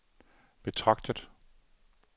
betragtet